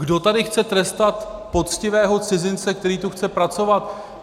Kdo tady chce trestat poctivého cizince, který tu chce pracovat?